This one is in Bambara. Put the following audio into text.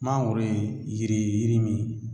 Mangoro ye yiri ye yiri min